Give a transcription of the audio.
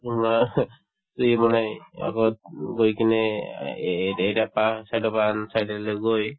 তোমাৰ সি মানে আগত গৈ কিনে এ এ এটা side ৰ পৰা আন side লৈ গৈ